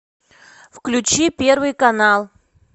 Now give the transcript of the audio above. включи первый канал